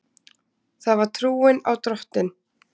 Það var trúin á Drottin.